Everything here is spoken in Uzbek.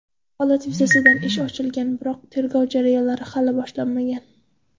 Holat yuzasidan ish ochilgan, biroq tergov jarayonlari hali boshlanmagan.